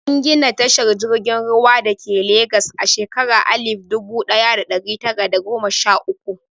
An gina tashar jirgin ruwa dake Legas a shekara alif dubu ɗaya da ɗari tara da goma sha uku.